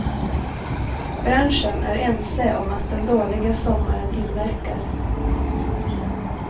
Branschen är ense om att den dåliga sommaren inverkar.